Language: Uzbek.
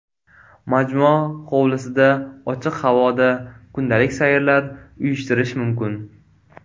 Majmua hovlisida, ochiq havoda kundalik sayrlar uyushtirish mumkin.